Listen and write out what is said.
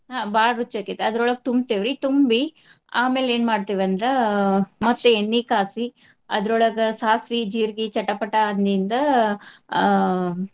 ಆ ಬಾಳ್ ರುಚಿ ಆಕ್ಕೇತಿ ಅದ್ರೋಳಗ್ ತುಂಬ್ತೇವ್ರಿ. ತುಂಬಿ ಆಮೇಲೆ ಏನ್ ಮಾಡ್ತಿವಂದ್ರ ಆ ಮತ್ತೆ ಎಣ್ಣಿ ಕಾಸಿ ಅದ್ರೋಳಗ ಸಾಸ್ವಿ, ಜೀರ್ಗಿ ಚಟಪಟ ಅಂದಿದ್ದ ಆ.